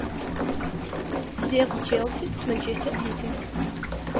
дерби челси с манчестер сити